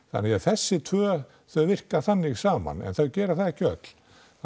þannig að þessi tvö þau virka þannig saman en þau gera það ekki öll